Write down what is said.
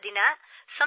ಸರ್ಇಂದು ಸಂಸ್ಕೃತ ದಿನ